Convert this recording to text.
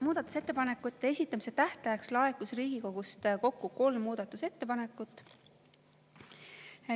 Muudatusettepanekute esitamise tähtajaks laekus Riigikogust kokku muudatusettepanekut.